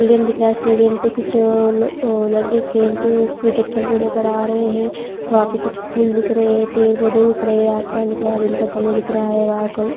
stadium दिख रहा है स्टेडियम पर कुछ अ ल लड़के खेलते हुए क्रिकेट खेलते हुए नज़र आ रहे हैं वहाँ पे कुछ पुल दिख रहे हैं पेड़-पौधे दिख रहे हैं आसमान दिख रहा है दिन का समय दिख रहा है वहाँ क